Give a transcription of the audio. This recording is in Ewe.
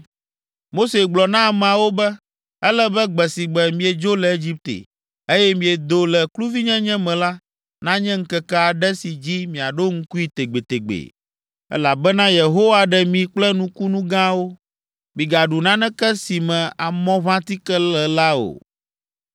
Mose gblɔ na ameawo be, “Ele be gbe si gbe miedzo le Egipte, eye miedo le kluvinyenye me la, nanye ŋkeke aɖe si dzi miaɖo ŋkui tegbetegbe, elabena Yehowa ɖe mi kple nukunu gãwo. Migaɖu naneke si me amɔʋãtike le la o.